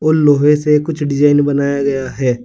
लोहे से कुछ डिजाइन बनाया गया है।